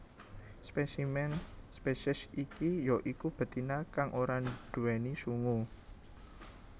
Spesimen spesies iki ya iku betina kang ora nduwèni sungu